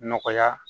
Nɔgɔya